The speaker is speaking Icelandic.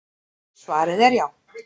Svarið er já.